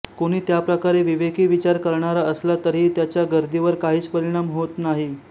कोणी त्याप्रकारे विवेकी विचार करणारा असला तरीही त्याचा गर्दीवर काहीच परिणाम होत नाही